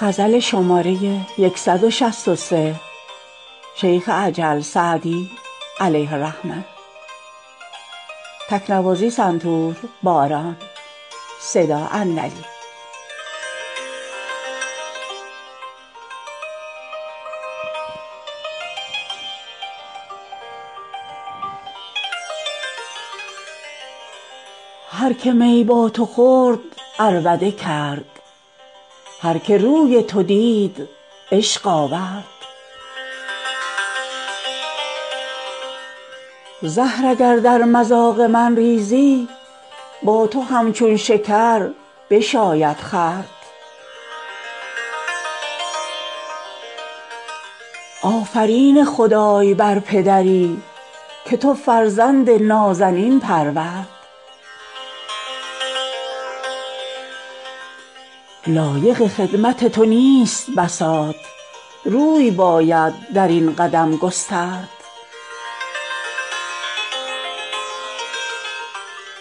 هر که می با تو خورد عربده کرد هر که روی تو دید عشق آورد زهر اگر در مذاق من ریزی با تو همچون شکر بشاید خورد آفرین خدای بر پدری که تو فرزند نازنین پرورد لایق خدمت تو نیست بساط روی باید در این قدم گسترد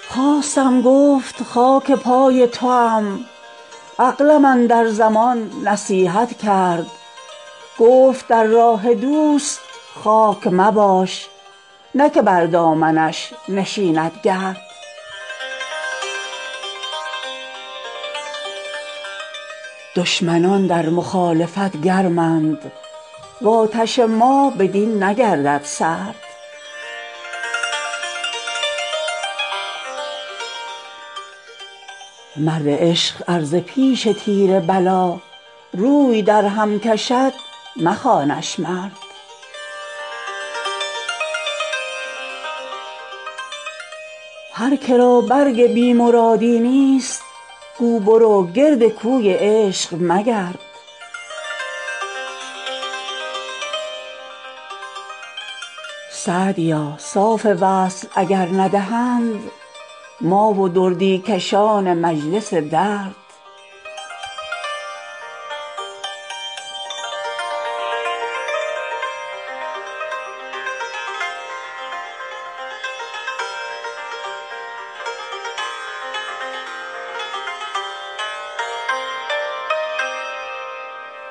خواستم گفت خاک پای توام عقلم اندر زمان نصیحت کرد گفت در راه دوست خاک مباش نه که بر دامنش نشیند گرد دشمنان در مخالفت گرمند و آتش ما بدین نگردد سرد مرد عشق ار ز پیش تیر بلا روی درهم کشد مخوانش مرد هر که را برگ بی مرادی نیست گو برو گرد کوی عشق مگرد سعدیا صاف وصل اگر ندهند ما و دردی کشان مجلس درد